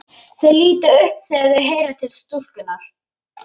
Þau líta upp þegar þau heyra til stúlkunnar.